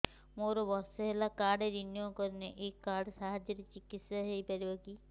ମୋର ବର୍ଷେ ହେଲା କାର୍ଡ ରିନିଓ କରିନାହିଁ ଏହି କାର୍ଡ ସାହାଯ୍ୟରେ ଚିକିସୟା ହୈ ପାରିବନାହିଁ କି